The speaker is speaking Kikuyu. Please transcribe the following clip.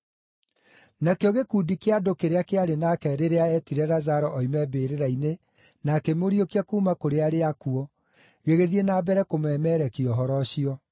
Nakĩo gĩkundi kĩa andũ kĩrĩa kĩarĩ nake rĩrĩa eetire Lazaro oime mbĩrĩra-inĩ na akĩmũriũkia kuuma kũrĩ arĩa akuũ gĩgĩthiĩ na mbere kũmemerekia ũhoro ũcio.